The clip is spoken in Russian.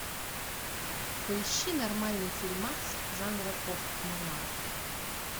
поищи нормальный фильмас жанра постнуар